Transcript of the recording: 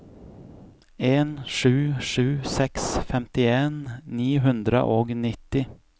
en sju sju seks femtien ni hundre og nitti